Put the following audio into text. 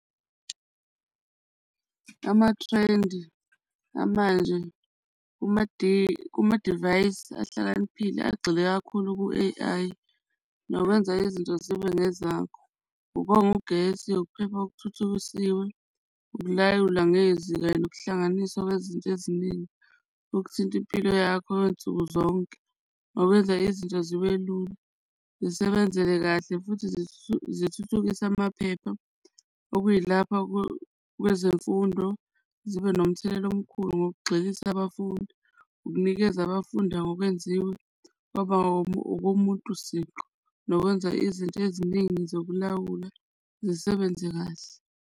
Amathrendi amanje kumadivayisi ahlakaniphile agxile kakhulu ku-A_I nokwenza izinto zibe ngezakho. Ukonga ugesi, ukuphepha okuthuthukisiwe, ukulawula ngezinga lokuhlanganisa kwezinto eziningi, okuthinta impilo yakho nsuku zonke ngokwenza izinto zibe lula zisebenzele kahle futhi zithuthukise amaphepha. Okuyilapho kwezemfundo zibe nomthelela omkhulu ngokugxilisa abafundi ukunikeza abafundi ngokwenziwe kwaba okomuntu siqu, nokwenza izinto eziningi zokulawula zisebenze kahle.